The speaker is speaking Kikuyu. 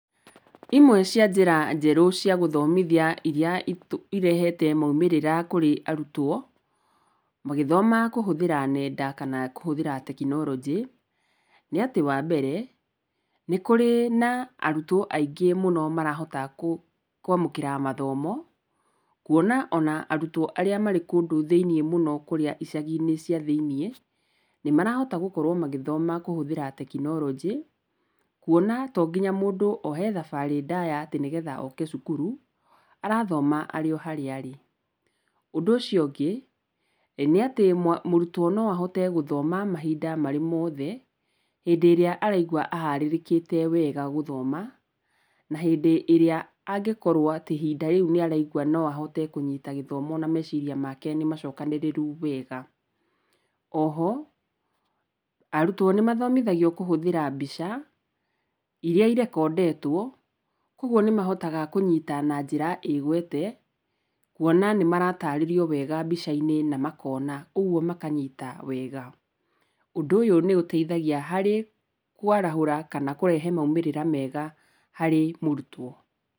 Imwe cia njĩra njerũ cia gũthomithia iria irehete maumĩrĩra mega kũrĩ arutwo, magĩthoma kũhũthĩra nenda, kana kũhũthĩra tekironjĩ, nĩ atĩ wambere, nĩ kũrĩ na arutwo aingĩ mũno marahota kwamũkĩra mathomo, kwona ona arutwo arĩa marĩ kũndũ thĩinĩ mũno icagi-inĩ cia thĩiniĩ, nĩmarahota gũkorwo magĩthoma kũhũthĩra tekinoronjĩ, kwona tonginya mũndũ oe thabarĩ ndaya oke cukuru, arathoma arĩ oharĩa arĩ. Ũndũ ũcio ũngĩ, nĩ atĩ mũrutwo noahote gũthoma mahinda merĩmothe, hĩndĩ ĩrĩa araigua aharĩrĩkĩte wega gũthoma, na hindĩ ĩrĩa angĩkorwo ihinda rĩu nĩ araigua noahote kũnyita gĩthomo na meciria make nĩmacokanĩrĩru wega. Oho, arutwo nĩmathomithagio kũhũthĩra mbica, iria irekondetwo, koguo nĩmahotaga kũnyita na njĩra ĩgwete, kwona nĩ maratarĩrio wega mbica-inĩ, na makona, ũguo makanyita wega. Ũndũ ũyũ nĩ ũteithagia harĩ kwarahũra kana kũrehe maumĩrĩra mega harĩ mũrutwo.